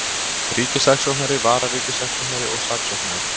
Ríkissaksóknari, vararíkissaksóknari og saksóknarar.